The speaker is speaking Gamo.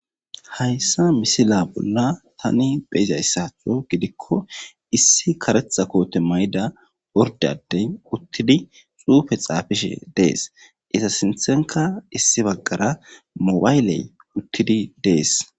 Haysa misiliya bollan ta be'ashsha dizzoge kareththa koththezza mayidda oridde adde uththidi xuffe xafishe de'es iza sintha issi bagara mobile uththidi de'es.